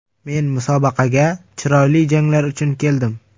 Men musobaqaga chiroyli janglar uchun keldim.